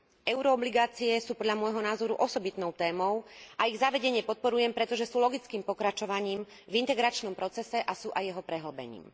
Euroobligácie sú podľa môjho názoru osobitnou témou a ich zavedenie podporujem, pretože sú logickým pokračovaním v integračnom procese a sú aj jeho prehĺbením.